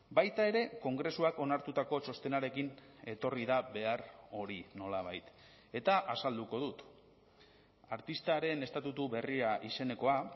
baita ere kongresuak onartutako txostenarekin etorri da behar hori nolabait eta azalduko dut artistaren estatutu berria izenekoa